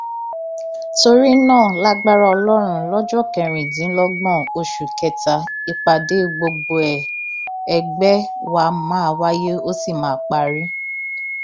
torí náà lagbára ọlọrun lọjọ kẹrìndínlọgbọn oṣù kẹta ìpàdé gbọgbẹọ ẹgbẹ wa máa wáyé ó sì máa parí